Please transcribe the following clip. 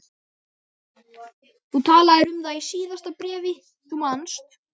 Þú talaðir um það í síðasta bréfi, þú manst.